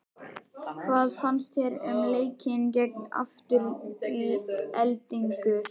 Hvað fannst þér um leikinn gegn Aftureldingu?